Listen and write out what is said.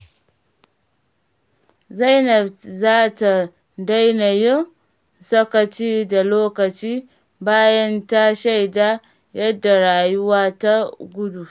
Zainab za ta daina yin sakaci da lokaci bayan ta shaida yadda rayuwa ke gudu.